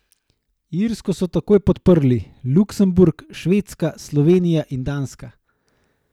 Irsko so takoj podprli Luksemburg, Švedska, Slovenija in Danska.